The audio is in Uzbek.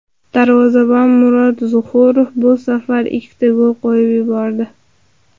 Darvozabon Murod Zuxurov bu safar ikkita gol qo‘yib yubordi.